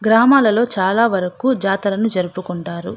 గ్రామాలలో చాలా వరకు జాతరలు జరుపుకుంటారు.